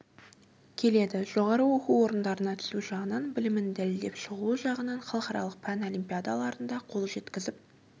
келеді жоғары оқу орындарына түсу жағынан білімін дәлелдеп шығуы жағынан халықаралық пән олимпиадаларында қол жеткізіп